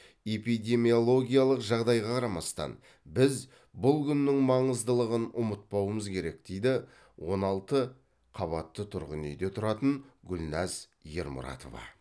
эпидемиологиялық жағдайға қарамастан біз бұл күннің маңыздылығын ұмытпауымыз керек дейді он алты қабатты тұрғын үйде тұратын гүлнәз ермұратова